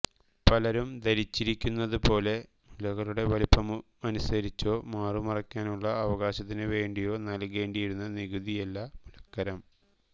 പലരും ധരിച്ചിരിക്കുന്നതുപോലെ മുലകളുടെ വലിപ്പമനുസരിച്ചോ മാറു മറയ്ക്കാനുള്ള അവകാശത്തിനുവേണ്ടിയോ നൽകേണ്ടിയിരുന്ന നികുതിയല്ല മുലക്കരം